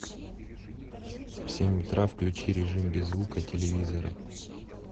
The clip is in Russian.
в семь утра включи режим без звука телевизора